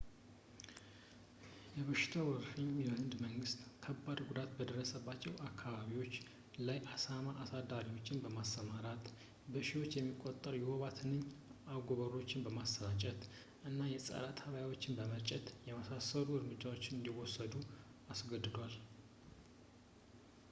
የበሽታው ወረርሽኝ የህንድ መንግስት ከባድ ጉዳት በደረሰባቸው አካባቢዎች ላይ የአሳማ አሳዳሪዎችን ማሰማራት ፣ በሺዎች የሚቆጠሩ የወባ ትንኝ አጎበሮችን ማሰራጨት እና ፀረ-ተባዮችን መርጨት የመሳሰሉ እርምጃዎችን እንዲወስድ አስገድዶታል